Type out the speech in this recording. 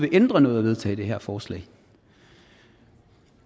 ændre noget at vedtage det her forslag